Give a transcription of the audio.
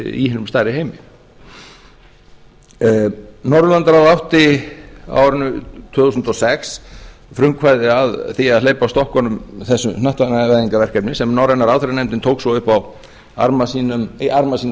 í hinum stærri heimi norðurlandaráð átti á árinu tvö þúsund og sex frumkvæðið að því að hleypa af stokkunum þessu hnattvæðingarverkefni sem norræna ráðherranefndin tók svo upp á arma sína